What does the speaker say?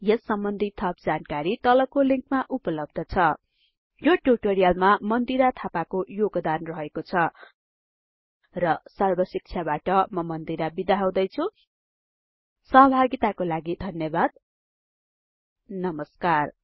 यस सम्बन्धि थप जानकारी तलको लिंकमा उपलब्ध छ यो ट्युटोरियलमा मन्दिरा थापाको योगदान रहेको छ र सर्बशिक्षाबाट म मन्दिरा बिदा हुदैछुँ सहभागिताको लागि धन्यबाद नमस्कार